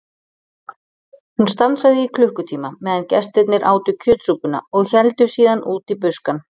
Hún stansaði í klukkutíma meðan gestirnir átu kjötsúpuna og héldu síðan út í buskann.